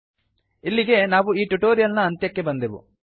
ಇಲ್ಲಿಗೆ ನಾವು ಈ ಟ್ಯುಟೋರಿಯಲ್ ನ ಅಂತ್ಯಕ್ಕೆ ಬಂದೆವು